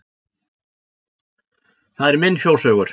Það er minn fjóshaugur.